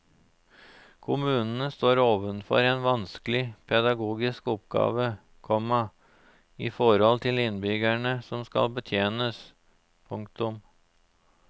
Kommunene står overfor en vanskelig pedagogisk oppgave, komma i forhold til innbyggerne som skal betjenes. punktum